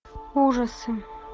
ужасы